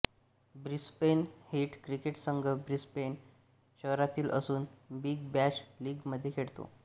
Brisbane heat cricket संघ Brisbane शहरातील असून बिग बॅश लीग मध्ये खेळतो